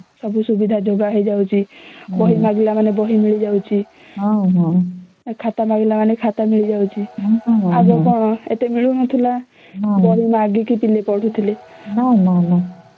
ସବୁ ସୁବିଧା ଯୋଗ ହେଇ ଯାଉଛି ବହି ମାଗିଲେ ମାନେ ବହି ମିଳି ଯାଉଛି ଆଉ ଖାତା ମାଗିଲେ ମାନେ ଖାତା ମିଳି ଯାଉଛି ଆଗ ମାନେ କଣ ଏତେ ମିଳୁ ନଥିଲା ବହି ମାଗିକି ପିଲେ ପଢୁଥିଲେ